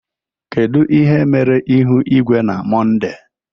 kedu ihe mere ihu igwe na Mọnde?